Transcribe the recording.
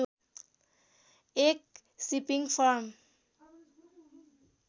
एक shipping form